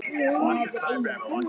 Þín Brynja og Sævar.